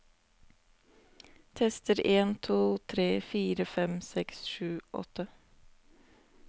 Tester en to tre fire fem seks sju åtte